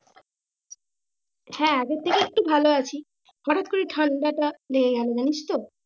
হ্যাঁ আগের থেকে একটু ভালো আছি হটাৎ করে ঠান্ডা টা লেগে গেল জানিস তো?